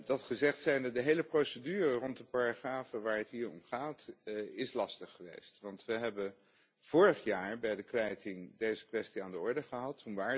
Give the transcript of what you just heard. Dit gezegd zijnde, de hele procedure rond de paragrafen waar het hier om gaat is lastig geweest want we hebben vorig jaar bij de kwijting deze kwestie aan de orde gesteld.